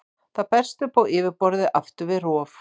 Það berst upp á yfirborðið aftur við rof.